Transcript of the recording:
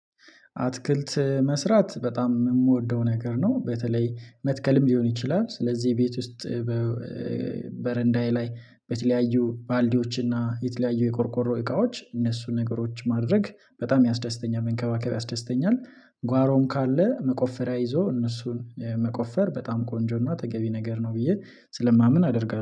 አትክልት መስራት በጣም የምወደው ነገር ነው በተለይ መትከልም ሊሆን ይችላል ስለዚህ ቤት ውስጥ በረንዳዬ ላይ በተለያዩ ባልዲዎችና የተለያዩ የቆርቆሮ እቃዎች እነሱን ነገሮች ማድረግ በጣም ያስደስተኛል መንከባከብ ያስደስተኛል። ጓሮም ካለ መቆፈሪያ ይዞ እነሱን መቆፈር በጣም ቆንጆና ተገቢ ነገር ነው። ብዬ ስለማምን አደርጋለሁ